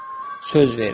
Söz verirəm.